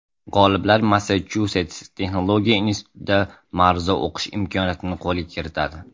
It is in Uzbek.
G‘oliblar Massachusets texnologiya institutida ma’ruza o‘qish imkoniyatini qo‘lga kiritadi.